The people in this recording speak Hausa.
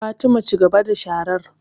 Fatima, cigaba da sharar